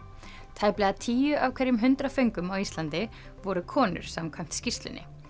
tæplega tíu af hverjum hundrað föngum á Íslandi voru konur samkvæmt skýrslunni